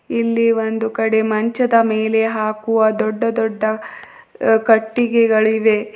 ಇಲ್ಲಿ ಒಂದು ಕಡೆ ಮಂಚದ ಮೇಲೆ ಹಾಕುವ ದೊಡ್ಡ ದೊಡ್ಡ ಕಟ್ಟಿಗೆಗಳಿವೆ.